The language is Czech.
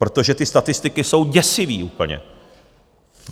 Protože ty statistiky jsou děsivé úplně.